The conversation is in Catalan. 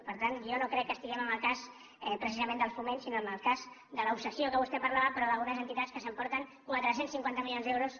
per tant jo no crec que estiguem en el cas precisament del foment sinó en el cas de l’obsessió de què vostè parlava però d’algunes entitats que s’emporten quatre cents i cinquanta milions d’euros